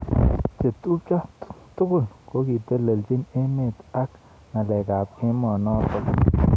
Chetubjo tugul kokiteleljin emet ak ngalek ab emet notok.